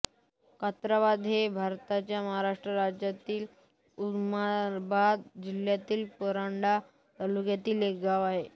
कात्राबाद हे भारताच्या महाराष्ट्र राज्यातील उस्मानाबाद जिल्ह्यातील परांडा तालुक्यातील एक गाव आहे